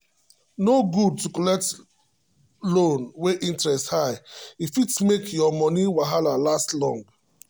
no good to collect loan wey interest high e fit make your money wahala last long.